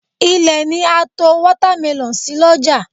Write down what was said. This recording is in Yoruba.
Ilẹ̀ ni a to Wọ́támẹlọ̀n sí l'ọ́jà